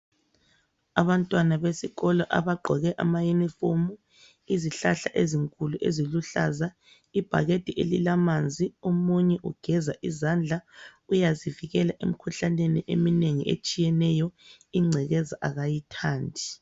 Abantwana besikolo abagqoke ama uniform, izihlahla ezinkulu eziluhlaza, ibhakede elilamanzi. Omunye ugeza izandla uyazivikela emkhuhlaneni eminengi etshiyeneyo, ingcekeza kayithandi.